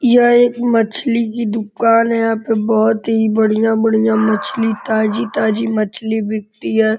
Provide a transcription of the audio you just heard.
यह एक मछली की दुकान है। यहाँ पे बोहोत ही बढ़िंया बढ़िंया मछली ताजी-ताजी मछली बिकती है।